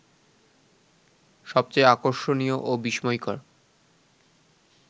সবচেয়ে আকর্ষণীয় ও বিস্ময়কর